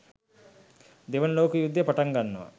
දෙවන ලෝක යුද්ධය පටන් ගන්නවා.